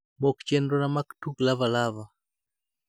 mok chenrona mag tuk lava lava